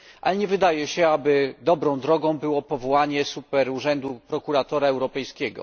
Ale nie wydaje się, aby dobrą drogą było powołanie superurzędu prokuratora europejskiego.